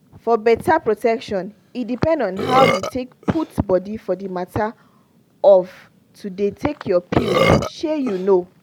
for better protection e depend on how you take put body for the matter of to dey take your pill shey you know